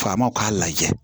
Faamaw k'a lajɛ